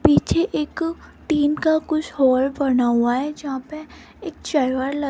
पीछे एक टीन का कुछ हॉल बना हुआ है जहां पे एक चेअर वेअर ल--